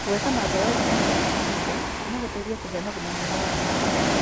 Gwĩka mazoezi mahinda kwa mahinda no gũteithie kũgĩa na ũgima mwega wa meciria.